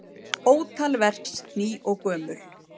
Ótal verks ný og gömul.